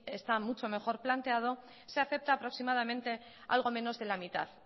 está mucho mejor planteado se acepta aproximadamente algo menos de la mitad